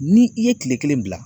Ni i ye kile kelen bila